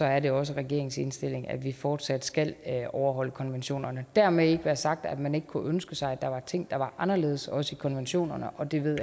er det også regeringens indstilling at vi fortsat skal overholde konventionerne dermed ikke være sagt at man ikke kunne ønske sig at der var ting der var anderledes også i konventionerne og den